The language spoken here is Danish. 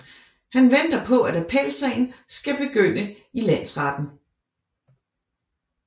Han venter på at appelsagen skal begynde i landsretten